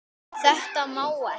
Þetta má ekki.